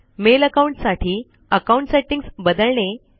mail account साठी account settings बदलणे